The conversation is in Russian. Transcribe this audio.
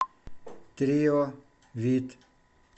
трио вид